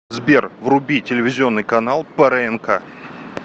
сбер вруби телевизионный канал прнк